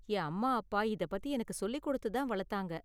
என் அம்மா அப்பா இதப் பத்தி எனக்கு சொல்லி கொடுத்து தான் வளத்தாங்க.